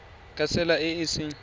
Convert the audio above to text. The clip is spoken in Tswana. ka tsela e e seng